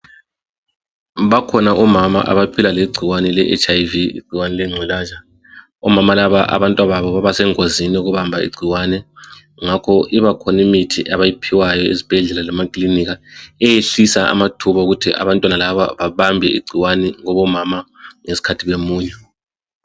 Bakhona omama abaphila legcikwane le HIV igcikwani lengculaza, omama laba abantwababo baba sengozini lokubamba igcikwane ngakho ibakhona imithi abayiphiwayo ezibhedlela lama kilinika eyehlisa amathuba okuthi abantwana laba bebambe igcikwane kubo mama ngesikhathi bemunya.